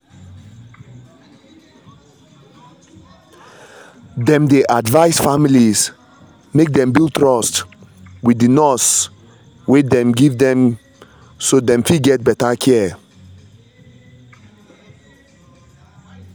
dem dey advise families make dem build trust with the nurse wey dem give dem so dem fit get better care